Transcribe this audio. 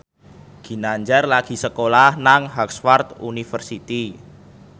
Ginanjar lagi sekolah nang Harvard university